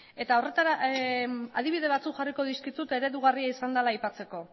eta adibide batzuk jarriko dizkizut eredugarria izan dela aipatzeko